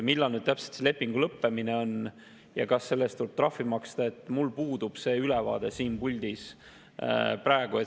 Millal täpselt see leping lõpeb ja kas selle eest tuleb trahvi maksta, selle üle mul praegu siin puldis ülevaade puudub.